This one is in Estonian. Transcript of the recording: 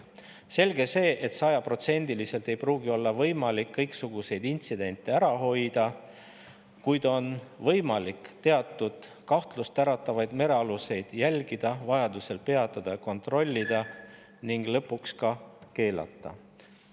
Selge see, et sajaprotsendiliselt ei pruugi olla võimalik kõiksuguseid intsidente ära hoida, kuid siiski saab teatud kahtlust äratavaid merealuseid jälgida, vajaduse korral neid peatada ja kontrollida ning lõpuks ka keelata …